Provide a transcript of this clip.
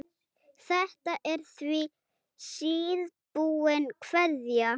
Þetta er því síðbúin kveðja.